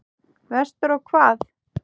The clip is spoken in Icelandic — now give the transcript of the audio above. Vestur á hvað?